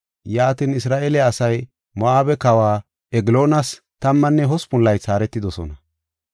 Yaatin, Isra7eele asay Moo7abe kawa Egloonas tammanne hospun laythi haaretidosona.